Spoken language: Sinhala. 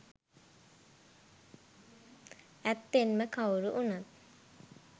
ඇත්තෙන්ම කවුරු වුණත්